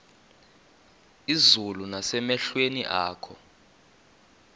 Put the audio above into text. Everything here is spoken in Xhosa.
izulu nasemehlweni akho